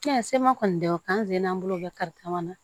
sema kɔni tɛ k'an sen n'an bolo bɛ kari kamana